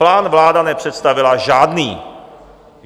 Plán vláda nepředstavila žádný.